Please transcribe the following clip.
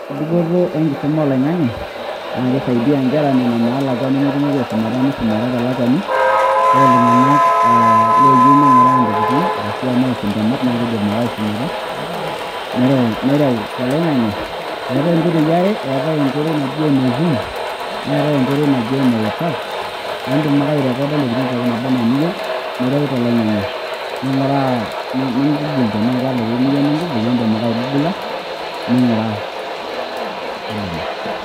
Ore dupoto enkisuma oloing'ange naa keisaidia inkera naa lakwa nemetumoki aisumata meisumata telakwani ore iltunganak aaa looyieu ninguraa ntokitin ashua neas intemat naakeidim ake aisumata nereu toloingange eetai inkoitoo are eetae enkoitoi naji ene zoom neetae enkoitoi naji ene whatsapp niindim ake airekooda intokitin nabaana iniyieu nireu toloingange nireu toloingange ninguraa ni Google naa indiim ake aigugula ninguraa